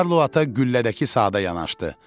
Karlo ata güllədəki saata yanaşdı.